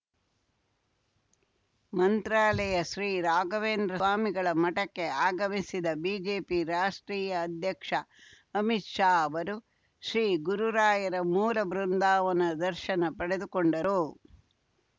ಮಂತ್ರಾಲಯ ಶ್ರೀರಾಘವೇಂದ್ರ ಸ್ವಾಮಿಗಳ ಮಠಕ್ಕೆ ಆಗಮಿಸಿದ್ದ ಬಿಜೆಪಿ ರಾಷ್ಟ್ರೀಯ ಅಧ್ಯಕ್ಷ ಅಮಿತ್‌ ಶಾ ಅವರು ಶ್ರೀಗುರುರಾಯರ ಮೂಲ ಬೃಂದಾನವದ ದರ್ಶನ ಪಡೆದುಕೊಂಡರು